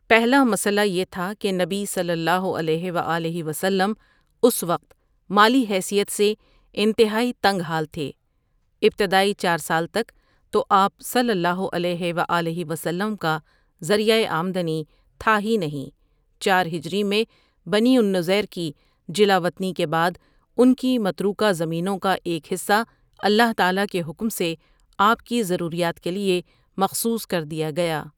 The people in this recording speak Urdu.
پہلا مسئلہ یہ تھا کہ نبی صلی اللہ علیہ و آلہ وسلم اس وقت مالی حیثیت سے انتہائی تنگ حال تھے ابتدائی چار سال تک تو آپ صلی اللہ علیہ و آلہ وسلم کا ذریعۂ آمدنی تھا ہی نہیں چار ہجری میں بنی النضیر کی جلا وطنی کے بعد ان کی متروکہ زمینوں کا ایک حصہ اللہ تعالٰیٰ کے حکم سے آپ کی ضروریات کے لیے مخصوص کر دیا گیا ۔